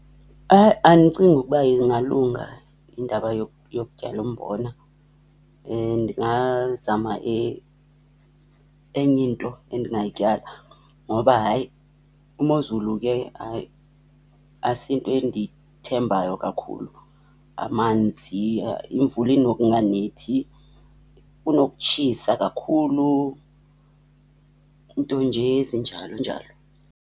Hayi, andicingi ukuba ingalunga indaba yokutyala umbona. Ndingazama enye nto endingayityala. Ngoba hayi, imozulu ke hayi, asiyinto endiyithembayo kakhulu. Amanzi, imvula inokunganethi, kunokutshisa kakhulu, nto nje ezinjalo njalo.